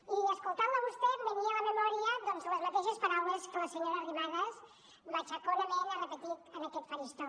i escoltant la a vostè em venia a la memòria doncs les mateixes paraules que la senyora arrimadas matxaconament ha repetit en aquest faristol